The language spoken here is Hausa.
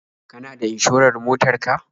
Kana da inshorar motar ka?